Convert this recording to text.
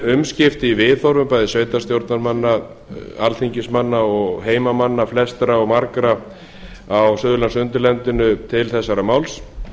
umskipti í viðhorfum bæði sveitarstjórnarmanna alþingismanna og heimamanna flestra og margra á suðurlandsundirlendinu til þessa máls